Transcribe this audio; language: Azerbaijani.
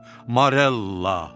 Morella.